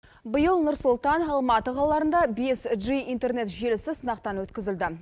биыл нұр сұлтан алматы қалаларында бес джи интернет желісі сынақтан өткізілді